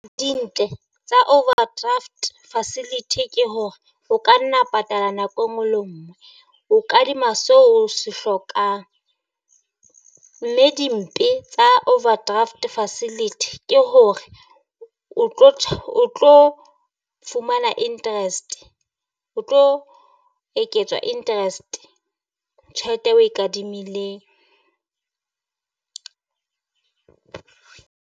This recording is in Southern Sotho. Dintle tsa overdraft facility ke hore o ka nna patala nako e nngwe le ngwe, o kadima so o se hlokang. Mme dimpho tsa overdraft facility ke ho hore o o tlo fumana interest o tlo eketswa interest tjhelete e oe kadimileng.